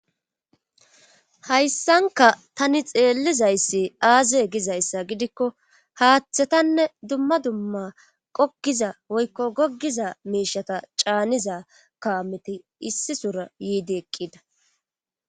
Hayssanka tani xeellizayssi aaze gizayssa gidikko haaththetanne dumma dumma qokkiza woykko goggiza miishata caaniza kawameti issi sora yiidi eqqida.